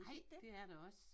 Ej det er der også